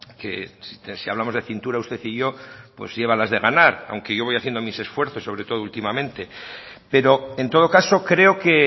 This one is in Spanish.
que si hablamos de cintura usted y yo pues lleva las de ganar aunque yo voy haciendo mis esfuerzos sobre todo últimamente pero en todo caso creo que